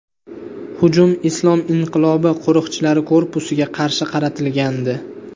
Hujum Islom inqilobi qo‘riqchilari korpusiga qarshi qaratilgandi.